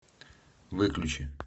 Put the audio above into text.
выключи